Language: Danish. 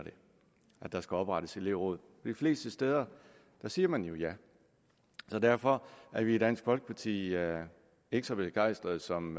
at der skal oprettes elevråd de fleste steder siger man jo ja så derfor er vi i dansk folkeparti ikke ikke så begejstrede som